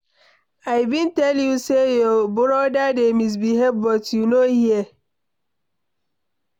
I bin tell you say your brother dey misbehave but you no hear.